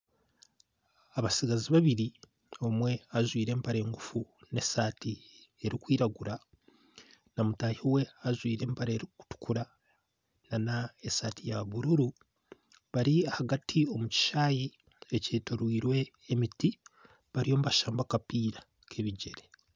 Abatsigazi babiri omwe ajwaire empare ngufu n'esaati erikwiragura na mutaahi we ajwaire empare erikutukura n'esaati ya bururu bari ahagati omu kishaayi ekyetoroirwe emiti bariyo nibashamba akapiira k'ebigyere.